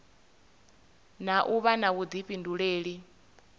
na u vha na vhuḓifhinduleli